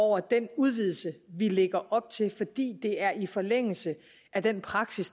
over den udvidelse vi lægger op til fordi det er i forlængelse af den praksis